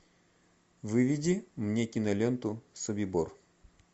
выведи мне киноленту собибор